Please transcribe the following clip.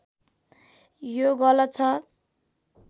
यो गलत छ